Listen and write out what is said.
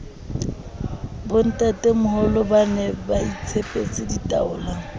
bontatemoholo ba ne baitshepetse ditaola